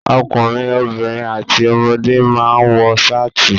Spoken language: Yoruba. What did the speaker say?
Ọkùnrin, obìnrin àti ọmọdé máa ń wọ ṣáàtì.